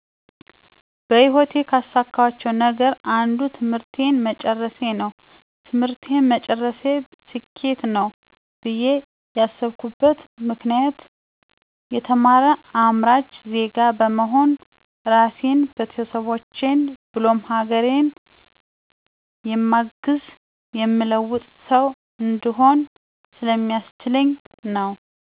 በህይወቴ ካሳካኋቸው ነገሮች አንዱ ትምህርቴን መጨረሴ ነው። ትምህርቴን መጨረሴ ስኬት ነው ብዬ ያስብኩበት ምክንያት የተማረ አምራች ዜጋ በመሆን ራሴን፣ ቤተሰቦቼን ብሎም ሀገሬን የማግዝ፣ የምለውጥ ሠው እንድሆን ስለሚያስችለኝ ነው።